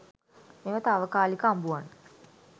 මෙම තාවකාලික අඹුවන්